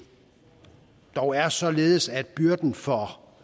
dog er således at byrden for